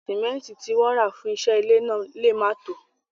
Símẹ́ntì tí wọ́n rà fún iṣẹ́ ilé náà lè má tòó.